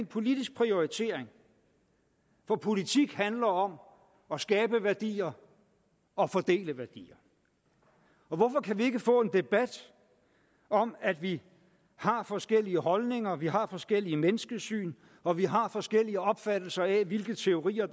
politisk prioritering for politik handler om at skabe værdier og fordele værdier hvorfor kan vi ikke få en debat om at vi har forskellige holdninger vi har forskellige menneskesyn og vi har forskellige opfattelser af hvilke teorier